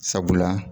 Sabula